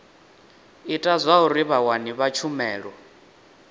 ita zwauri vhawani vha tshumelo